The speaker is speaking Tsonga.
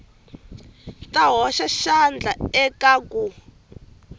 ta hoxa xandla eka ku